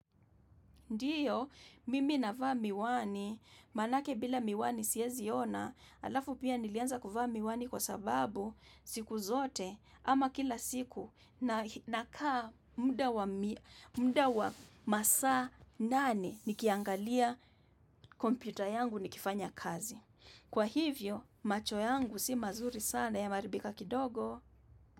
Ndiyo, mimi navaa miwani, manake bila miwani siezi ona, alafu pia nilianza kuvaa miwani kwa sababu siku zote ama kila siku na kaa muda wa masa nane nikiangalia kompyuta yangu nikifanya kazi. Kwa hivyo, macho yangu si mazuri sana yameharibika kidogo.